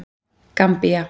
Gambía